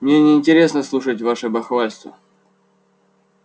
мне неинтересно слушать ваше бахвальство